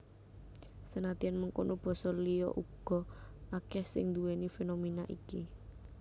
Senadyan mengkono basa liya uga akèh sing nduwèni fénoména iki